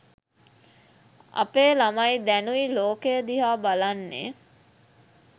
අපේ ළමයි දැනුයි ලෝකය දිහා බලන්නේ